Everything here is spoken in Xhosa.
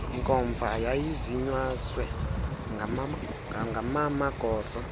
nkomfa yayizinyaswe ngamamagosa